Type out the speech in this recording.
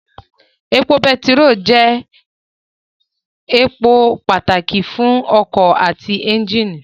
Epo bẹntiró jẹ́ èpò pàtàkì fún ọkọ̀ àti ẹ́njìnì